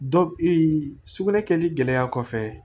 Dɔ sugunɛ kɛli gɛlɛya kɔfɛ